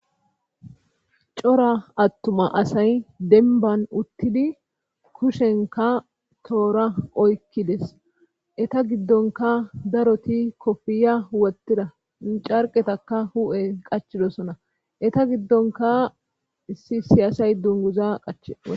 Cora attuma asay denban uttidi kushenka toora oykkides eta giddonka daroti kofiya wottida carqetaka hu7e qachidosona eta giddonka issi siyasay dunguza qach.